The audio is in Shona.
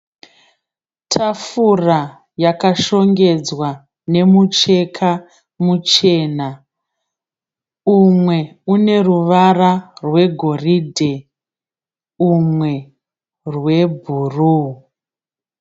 Tafura yakashongedzwa nemucheka muchena. Umwe une ruvara rwegoridhe umwe rwebhuruu.